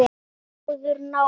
Gunnar: Góður náungi?